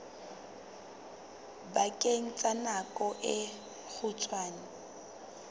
bakeng sa nako e kgutshwane